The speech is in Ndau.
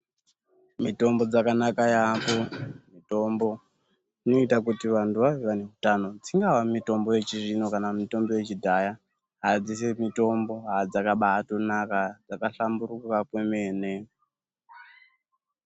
Mitombo dzakanaka yaamho , mitombo dzinoita kuti vanhu vave neutano, dzingave yechizvino kana yechidhaya, asi dzese mitombo dzakabaatonaka dzakahlamburuka kwemene.